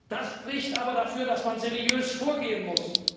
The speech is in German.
Das spricht aber dafür, dass man seriös vorgehen muss.